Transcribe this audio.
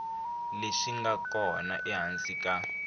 leswi nga kona ehansi ka